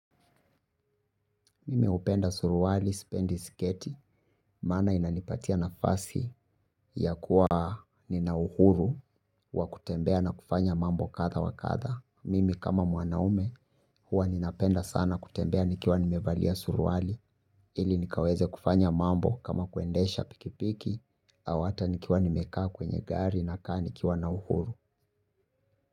Mimi upenda suruwali, spendi, skate, mana inanipatia na fasi ya kuwa ninauhuru wa kutembea na kufanya mambo katha wa katha. Mimi kama mwanaume huwa ninapenda sana kutembea nikiwa nimevalia suruwali ili nikaweze kufanya mambo kama kuendesha pikipiki au hata nikiwa nimekaa kwenye gari na kaa nikiwa na uhuru.